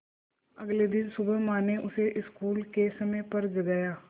अगले दिन सुबह माँ ने उसे स्कूल के समय पर जगाया